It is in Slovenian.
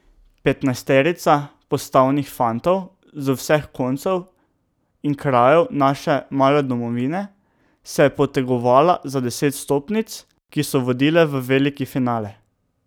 Petnajsterica postavnih fantov z vseh koncev in krajev naše male domovine se je potegovala za deset vstopnic, ki so vodile v veliki finale.